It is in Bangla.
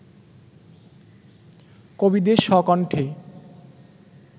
কবিদের স্বকণ্ঠে